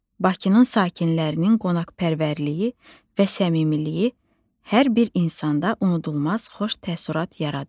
Bakının sakinlərinin qonaqpərvərliyi və səmimiliyi hər bir insanda unudulmaz xoş təəssürat yaradır.